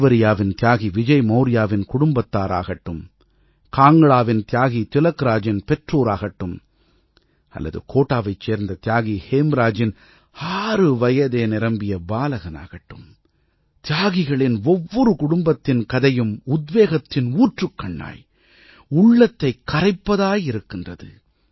அது தேவரியாவின் தியாகி விஜய் மௌர்யாவின் குடும்பத்தாராகட்டும் காங்க்டாவின் தியாகி திலக்ராஜின் பெற்றோராகட்டும் அல்லது கோடாவைச் சேர்ந்த தியாகி ஹேம்ராஜின் ஆறு வயதே நிரம்பிய பாலகனாகட்டும் தியாகிகளின் ஒவ்வொரு குடும்பத்தின் கதையும் உத்வேகத்தின் ஊற்றுக்கண்ணாய் உள்ளத்தைக் கரைப்பதாய் இருக்கின்றது